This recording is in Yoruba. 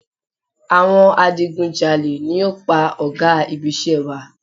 Awọn adigunjalè ni o pa ò̩gá ibisé̩ wa